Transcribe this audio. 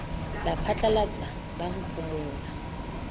la phatlalatsa la ho phomola